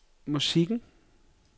musikken